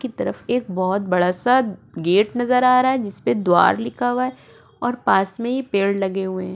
की तरफ एक बहुत बड़ा सा गेट नजर आ रहा है जिस पे द्वार लिखा हुआ है और पास में ये पेड़ लगे हुए हैं।